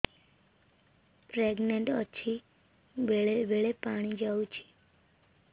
pregnant ଅଛି ବେଳେ ବେଳେ ପାଣି ଯାଉଛି